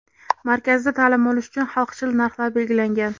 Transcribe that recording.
Markazda ta’lim olish uchun xalqchil narxlar belgilangan.